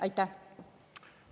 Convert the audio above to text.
Aitäh!